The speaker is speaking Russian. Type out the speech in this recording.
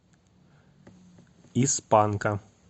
из панка